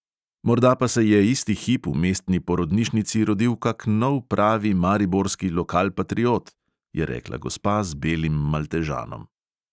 "Morda pa se je isti hip v mestni porodnišnici rodil kak nov pravi mariborski lokalpatriot!" je rekla gospa z belim maltežanom.